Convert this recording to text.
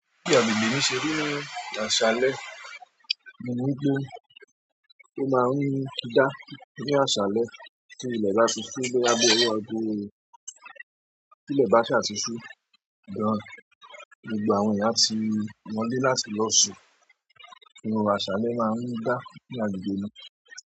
Bí àgbègbè mi ṣe rí ni àṣálẹ́, ní wípé, ó máa ń dá ní àṣálẹ́ tí ilẹ̀ bá ti ṣú boya bíi owo ago, tilẹ̀ bá ṣàa ti ṣú, gan, gbogbo àwọn eeyán a ti wọ́lé láti lọ sùn, inú àṣálẹ́ máa ń dá ní agbègbè mi.